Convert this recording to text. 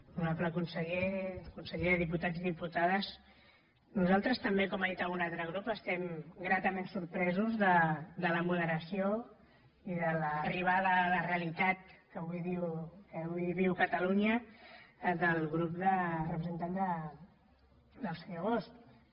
honorable conseller consellers diputats i diputades nosaltres també com ha dit algun altre grup estem gratament sorpresos de la moderació i de l’arribada a la realitat que avui viu catalunya del grup representant del senyor bosch